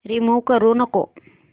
remove करू नको